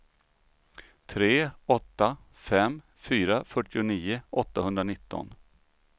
tre åtta fem fyra fyrtionio åttahundranitton